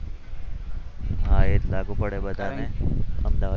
આ એ લાગુ પડે બધાને અમદાવાદ